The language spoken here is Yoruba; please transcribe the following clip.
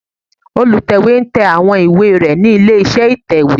Olùtẹ̀wé ń tẹ àwọn ìwé rẹ̀ nílé iṣẹ́ ìtẹ̀wé